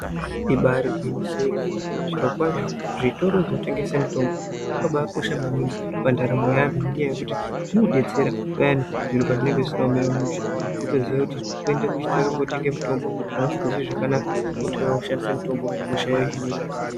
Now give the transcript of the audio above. Ibairi gwinyiso remene, zvirokwazvo, zvitoro zvinotengese mitombo zvakabaakosha maningi pandaramo yevantu ngenyaya yekuti zvinodetsera payani zviro pazvinenge zvisina kumira mushe. Kutoziya kuti kuende kuchitoro kotenge mutombo kana usikazwi zvakanaka, wotouya woshandisa mutombo, hosha yohinika.